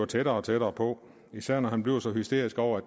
tættere og tættere på især når han bliver så hysterisk over